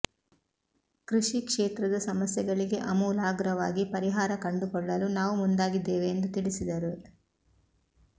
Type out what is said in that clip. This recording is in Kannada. ಕೃಷಿ ಕ್ಷೇತ್ರದ ಸಮಸ್ಯೆಗಳಿಗೆ ಅಮೂಲಾಗ್ರವಾಗಿ ಪರಿಹಾರ ಕಂಡುಕೊಳ್ಳಲು ನಾವು ಮುಂದಾಗಿದ್ದೇವೆ ಎಂದು ತಿಳಿಸಿದರು